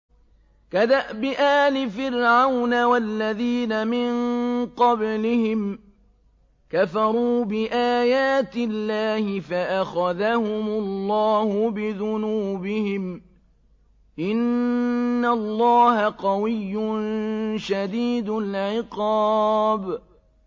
كَدَأْبِ آلِ فِرْعَوْنَ ۙ وَالَّذِينَ مِن قَبْلِهِمْ ۚ كَفَرُوا بِآيَاتِ اللَّهِ فَأَخَذَهُمُ اللَّهُ بِذُنُوبِهِمْ ۗ إِنَّ اللَّهَ قَوِيٌّ شَدِيدُ الْعِقَابِ